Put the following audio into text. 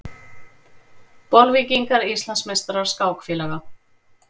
Bolvíkingar Íslandsmeistarar skákfélaga